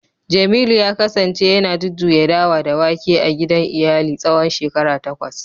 jemilu ya kasance yana jujjuya dawa da wake a gidan iyali tsawon shekaru takwas